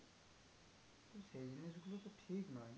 এই জিনিসগুলোই তো ঠিক নয়।